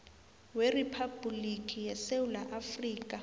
weriphabhuliki yesewula afrika